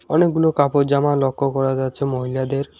অনেকগুলো কাপড়জামা লক্ষ্য করা যাচ্ছে মহিলাদের।